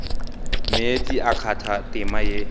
meetse a kgatha tema ye